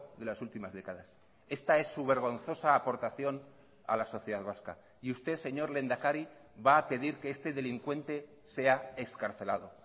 de las últimas décadas esta es su vergonzosa aportación a la sociedad vasca y usted señor lehendakari va a pedir que este delincuente sea excarcelado